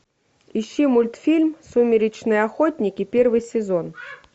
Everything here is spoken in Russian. ищи мультфильм сумеречные охотники первый сезон